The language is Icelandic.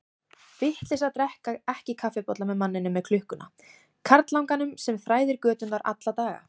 Vitleysa að drekka ekki kaffibolla með manninum með klukkuna, karlanganum sem þræðir göturnar alla daga.